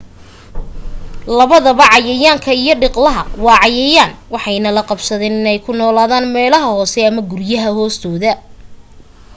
labadaba cayayaanka iyo dhiqlaha waa cayayaan waxayna la qabsadeen in ku noolaadaan meelaha hoose ama guryaha